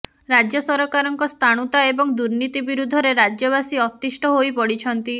ରାଜ୍ୟସରକାରଙ୍କ ସ୍ଥାଣୁତା ଏବଂ ଦୁର୍ନୀତି ବିରୁଦ୍ଧରେ ରାଜ୍ୟବାସୀ ଅତିଷ୍ଠ ହୋଇପଡିଛନ୍ତି